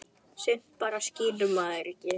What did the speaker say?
Sumt bara skilur maður ekki.